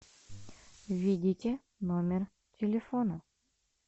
введите номер телефона